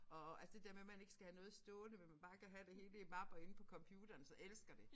Og altså det der med man ikke skal have noget stående men man bare kan have det hele i mapper inde på computeren så elsker det